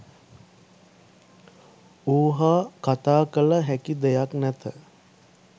ඌ හා කතා කළ හැකි දෙයක් නැත